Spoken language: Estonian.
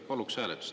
Paluks hääletust.